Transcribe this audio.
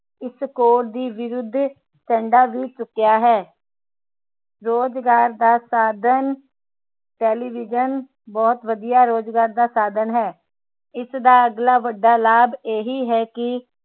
ਇਸ ਕੌਰ ਦੇ ਵਿਰੁੱਧ ਝੰਡਾ ਵੀ ਚੁੱਕਿਆ ਹੈ ਰੋਜਗਾਰ ਦਾ ਸਾਧਣ ਟੇਲੀਵਿਜਨ ਬਹੁਤ ਵਧੀਆ ਰੋਜਗਾਰ ਦਾ ਸਾਧਣ ਹੈ ਇਸਦਾ ਅਗਲਾ ਵੱਡਾ ਲਾਭ ਇਹੀ ਹੈ ਕਿ